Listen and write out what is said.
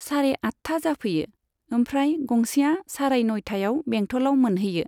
सारे आटथा जाफैयो, ओमफ्राय गंसेया साराय नइटायाव बेंटलाव मोनहैयो।